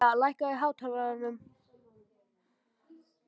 Mæja, lækkaðu í hátalaranum.